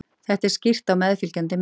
Þetta er skýrt á meðfylgjandi mynd.